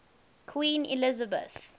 queen elizabeth